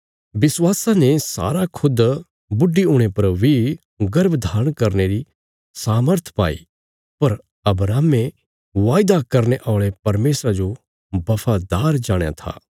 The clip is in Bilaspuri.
विश्वासा ने सारा खुद बुढी हुणे पर बी गर्भ धारण करने री सामर्थ पाई पर अब्राहमे वायदा करने औल़े परमेशरा जो बफादार जाणया था